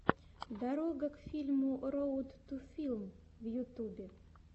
дорога к фильму роуд ту филм в ютьюбе